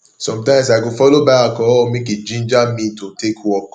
somtimes i go follow buy alcohol mek e ginger me to take work